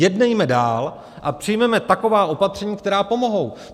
Jednejme dál a přijměme taková opatření, která pomohou.